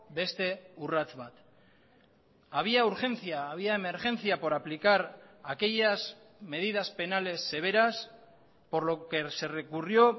beste urrats bat había urgencia había emergencia por aplicar aquellas medidas penales severas por lo que se recurrió